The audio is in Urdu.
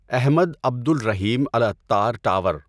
Ahmad Abdul Rahim Al Attar tower